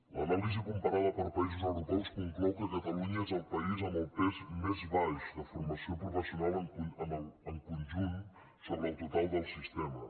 l’anàlisi comparada per països europeus conclou que catalunya és el país amb el pes més baix de forma·ció professional en conjunt sobre el total del sistema